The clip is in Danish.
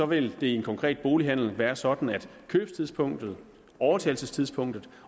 vil det i en konkret bolighandel være sådan at købstidspunktet overtagelsestidspunktet